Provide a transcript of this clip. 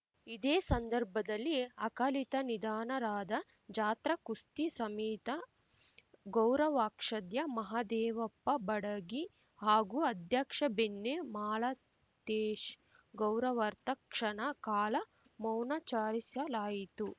ಇದೇ ಸಂದರ್ಭದಲ್ಲಿ ಅಕಾಲಿಕ ನಿಧನರಾದ ಜಾತ್ರಾ ಕುಸ್ತಿ ಸಮಿತ ಗೌರವಾಕ್ಷಧ್ಯ ಮಹದೇವಪ್ಪ ಬಡಗಿ ಹಾಗೂ ಅಧ್ಯಕ್ಷ ಬೆಣ್ಣೆ ಮಾಲತೇಶ್‌ ಗೌರವಾರ್ಥ ಕ್ಷಣ ಕಾಲ ಮೌನಾಚಾರಿಸಲಾಯಿತು